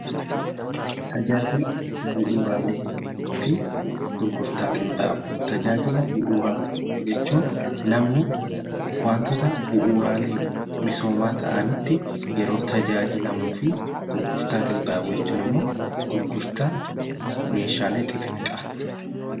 Tajaajila bu'uuraa jechuun namni waantota bu'uuraalee misoomaa ta'anitti yeroo tajaajilamuu fi gurgurtaa qinxaaboo jechuun ammoo gurgurtaa meeshaalee xixiqqaa.